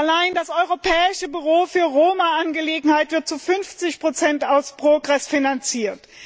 Allein das Europäische Büro für Roma Angelegenheiten wird zu 50 aus PROGRESS finanziert.